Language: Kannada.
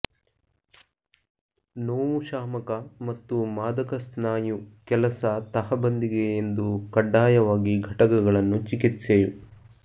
ನೋವು ಶಾಮಕ ಮತ್ತು ಮಾದಕ ಸ್ನಾಯು ಕೆಲಸ ತಹಬಂದಿಗೆ ಎಂದು ಕಡ್ಡಾಯವಾಗಿ ಘಟಕಗಳನ್ನು ಚಿಕಿತ್ಸೆಯು